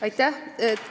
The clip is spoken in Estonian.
Aitäh!